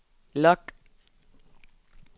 log